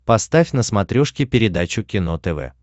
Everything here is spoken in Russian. поставь на смотрешке передачу кино тв